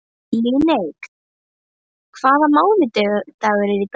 Líneik, hvaða mánaðardagur er í dag?